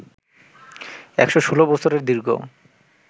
১১৬ বছরের দীর্ঘ